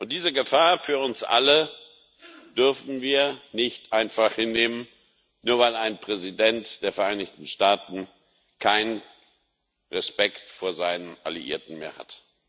Diese Gefahr für uns alle dürfen wir nicht einfach hinnehmen, nur weil ein Präsident der Vereinigten Staaten keinen Respekt vor seinen Alliierten mehr hat.